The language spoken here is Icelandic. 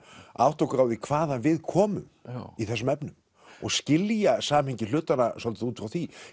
að átta okkur á því hvaðan við komum í þessum efnum og skilja samhengi hlutanna svolítið út frá því